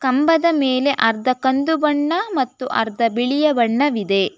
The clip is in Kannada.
ಕಂಬದ ಮೇಲೆ ಅರ್ಧ ಕಂದು ಬಣ್ಣ ಮತ್ತು ಅರ್ಧ ಬಿಳಿಯ ಬಣ್ಣವಿದೆ.